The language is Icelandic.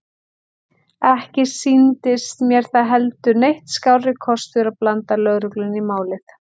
Ekki sýndist mér það heldur neitt skárri kostur að blanda lögreglunni í málið.